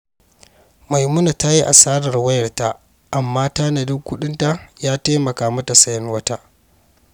Maimuna ta yi asarar wayarta, amma tanadin kuɗinta ya taimaka mata sayen wata.